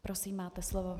Prosím, máte slovo.